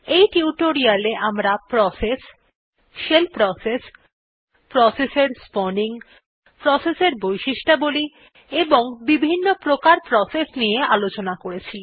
এই টিউটোরিয়ালে আমরা প্রসেস শেল প্রসেস প্রসেস এর স্পাউনিং প্রসেস এর বৈশিষ্ঠবলী এবং বিভিন্ন্ প্রকার প্রসেস নিয়ে আলোচনা করেছি